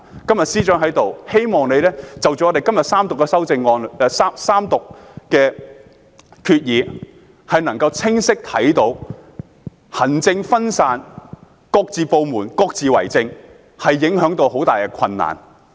今天司長在席，希望你能夠從這次三讀，清晰地看到行政分散、各部門各自為政造成的極大困難。